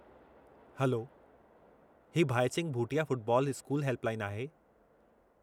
Hello, ही Bhaichung Bhutia football school help line आहे।